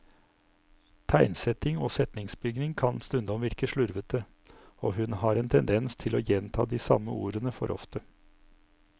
Tegnsetting og setningsbygning kan stundom virke slurvete, og hun har en tendens til å gjenta de samme ordene for ofte.